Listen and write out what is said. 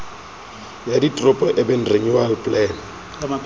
ya diteropo urban renewal plan